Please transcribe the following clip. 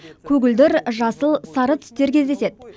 көгілдір жасыл сары түстер кездеседі